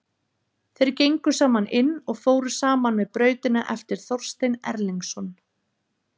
Þeir gengu saman inn og fóru saman með Brautina eftir Þorstein Erlingsson.